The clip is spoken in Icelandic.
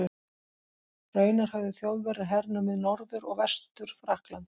Raunar höfðu Þjóðverjar hernumið Norður- og Vestur-Frakkland.